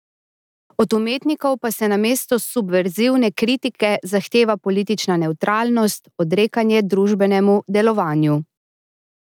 Od umetnikov pa se namesto subverzivne kritike zahteva politična nevtralnost, odrekanje družbenemu delovanju.